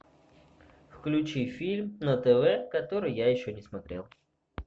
включи фильм на тв который я еще не смотрел